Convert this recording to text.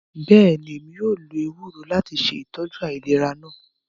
Bẹẹni, Emi yóò lo ewuro lati ṣe itọju ailera naa.